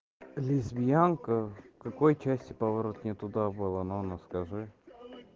лесбиянка какой части поворот не туда было мама скажи